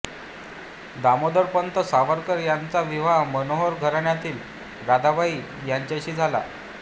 दामोदरपंत सावरकर यांचा विवाह मनोहर घराण्यातील राधाबाई यांच्याशी झाला